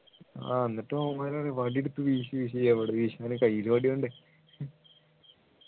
ആഹ് എന്നിട്ട് അവന്മാരും പറയാ വടിയെടുത്ത് വീശു വീശു എവിടെ വീശാൻ കയ്യിൽ വടി വേണ്ടേ